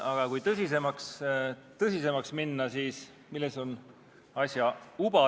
Aga kui tõsisemaks minna, siis milles on asja uba.